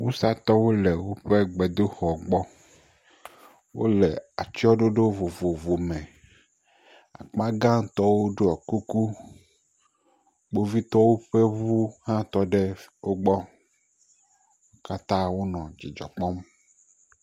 Wusatɔwo le woƒe gbedoxɔ gbɔ. Wole atsyɔ̃ɖoɖo vovovo me. Akpagãtɔwo ɖiɔ kuku. Kpovitɔwo ƒe ŋu hã tɔ ɖe wogbɔ. Katã wonɔ dzidzɔ kpɔm.